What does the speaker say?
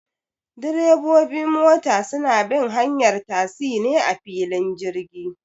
Direbobi mota suna bin hanyar tasi ne a filin jirgi